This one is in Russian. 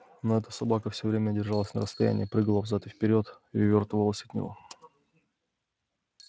но эта собака всё время держалась на расстоянии прыгала взад и вперёд и увёртывалась от него